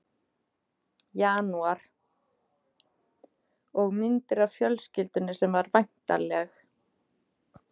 janúar, og myndir af fjölskyldunni sem var væntanleg.